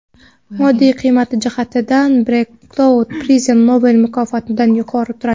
Moddiy qiymati jihatidan Breakthrough Prize Nobel mukofotidan yuqori turadi.